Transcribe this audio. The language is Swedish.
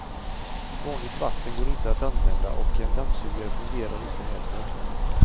Vanligt vatten går inte att använda och en dammsugare fungerar inte heller.